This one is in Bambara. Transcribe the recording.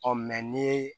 Ɔ ni ye